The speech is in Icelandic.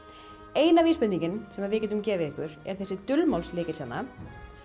eina vísbendingin sem við getum gefið ykkur er þessi dulmálslykill hérna